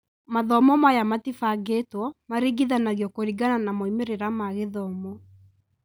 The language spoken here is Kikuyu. Mathomo maya matiabangĩtwo maringithanagio kũringana na moimĩrĩra ma gĩthomo.